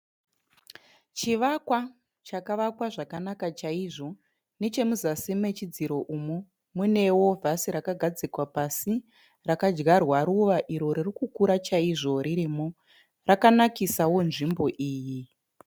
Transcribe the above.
Chivakwa chakavakwa zvakanaka chaizvo. Nechemuzasi mechidziro umu muneo vhasi rakadyarwa ruva iro ririkukura chaizvo ririmo. Rakanakisao nzvimbo iyi.